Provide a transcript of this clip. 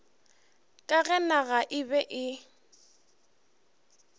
ka ge naga e be